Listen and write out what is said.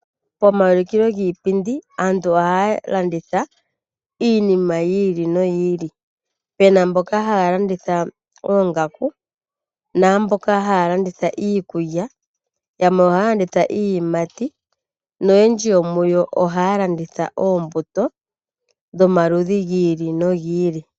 Pomaulikilo giipindi, aantu ohaa landitha iinima yi ili noyi ili, pena mboka haya landitha oongaku naamboka haya landitha iikulya, yamwe ohaa landitha iiyimati noyendji yomuyo ohaya landitha oombuto dhomaludhi gi ili nogi ili.